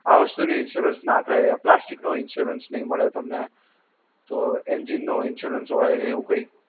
આ વસ્તુ નો insurance ના થાય, plastic નો insurance નઈ મળે તમને, તો engine નો insurance હોય ને એવું કંઈ?